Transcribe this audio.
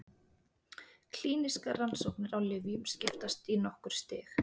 Klínískar rannsóknir á lyfjum skiptast í nokkur stig.